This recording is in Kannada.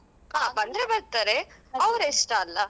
ಆ ಬಂದ್ರೆ ಬರ್ತಾರೆ ಅವ್ರ ಇಷ್ಟ ಅಲ್ಲ.